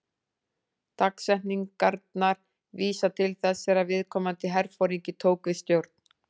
Dagsetningarnar vísa til þess þegar viðkomandi herforingi tók við stjórn.